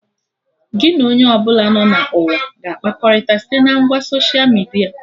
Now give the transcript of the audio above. Gị na onye ọbụla nọ na ụwa ga-akpakọrịta site na ngwa soshia midia